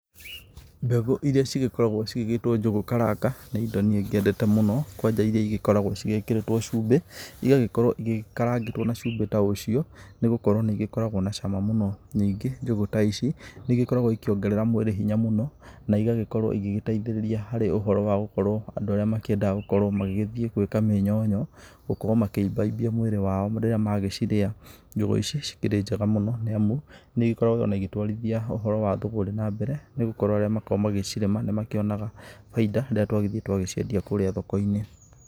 Mbegũ iria cigĩkoragwo cigĩgĩtwo njũgũ karanga nĩ indo niĩ ngĩendete mũno, kwanja irĩa igĩkoragwo cigĩkĩrĩtwo cumbĩ, igagĩkorwo ikarangĩtwo na cumbĩ ta ũcio nĩgũkorwo nĩ igĩkoragwo na cama mũno. Ningĩ njũgũ ta ici nĩ igĩkoragwo ikiongerera mwĩrĩ hinya mũno na igagĩkorwo igĩteithĩrĩria harĩ ũhoro wa gũkorwo andũ arĩa makĩendaga gũkorwo magĩgĩthiĩ gwĩka mĩnyonyo, gũkorwo makĩimbaimbia mwĩrĩ wao rĩrĩa magĩcirĩa. Njũgũ ici cikĩrĩ njega mũno nĩ amu nĩikoragwo ona igĩtwarithia ũhoro wa thũgũrĩ na mbere nĩ gũkorwo arĩa makoragwo magĩcirĩma nĩmakĩonaga bainda, rĩrĩa twagĩthiĩ twagĩciendia kũrĩa thoko-inĩ.